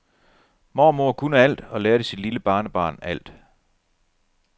Mormor kunne alt og lærte sit lille barnebarn alt.